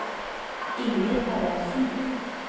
Inger Haraldsen